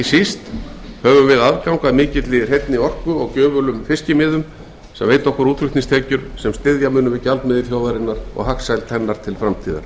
síst höfum við aðgang að mikilli hreinni orku og gjöfulum fiskimiðum sem veita okkur útflutningstekjur sem styðja munu við gjaldmiðil þjóðarinnar og hagsæld hennar til framtíðar